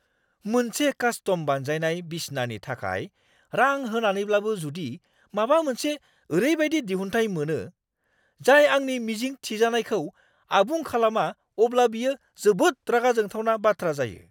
मोनसे कास्टम-बानायजानाय बिसनानि थाखाय रां होनानैब्लाबो जुदि माबा मोनसे ओरैबायदि दिहुनथाय मोनो, जाय आंनि मिजिं थिजानायखौ आबुं खालामा अब्ला बियो जोबोद रागा जोंथावना बाथ्रा जायो।